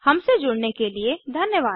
हमसे जुड़ने के लिए धन्यवाद